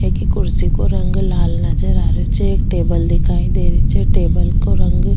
एक कुर्सी को रंग लाल नजर आ रेहो छे एक टेबल दिखाई दे री छे टेबल को रंग --